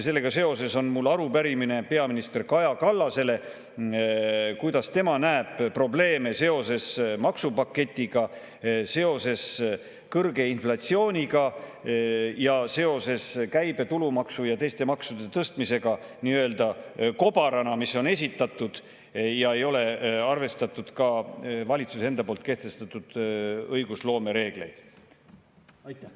Sellega seoses on mul arupärimine peaminister Kaja Kallasele: kuidas tema näeb probleeme seoses maksupaketiga, seoses kõrge inflatsiooniga ja seoses käibemaksu, tulumaksu ja teiste maksude tõstmisega nii-öelda kobarana, mis on esitatud ja milles ei ole arvestatud ka valitsuse enda kehtestatud õigusloome reegleid?